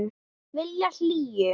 Vilja hlýju.